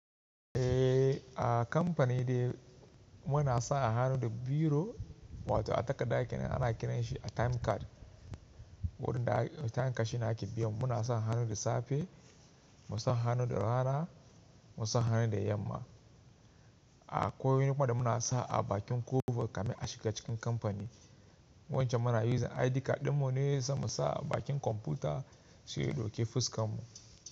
Eh, a kamfani dai muna sa har da biro, wato a takarda kenan ana kiranshi a time card. Wurin da a time card shina ake biyan mu muna sa hannu da safe, mu sa hannu da rana, mu sa hannu da yamma. Akwai wani kuma da muna sa a bakin ƙofa kamin a shiga cikin kamfani. Wancan muna using ID card ɗinmu ne sai musa a bakin kwamfuta sai ya ɗauki fuskarmu.